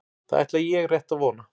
Það ætla ég rétt að vona